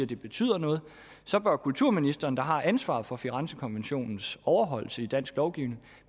det betyder noget så bør kulturministeren der har ansvaret for firenzekonventionens overholdelse i dansk lovgivning